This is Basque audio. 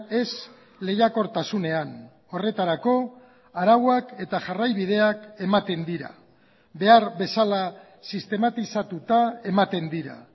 ez lehiakortasunean horretarako arauak eta jarraibideak ematen dira behar bezala sistematizatuta ematen dira